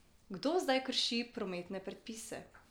Kdo zdaj krši prometne predpise?